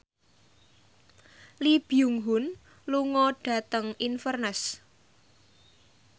Lee Byung Hun lunga dhateng Inverness